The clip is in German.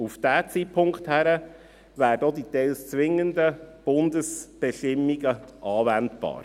Auf diesen Zeitpunkt hin werden auch die teils zwingenden Bundesbestimmungen anwendbar.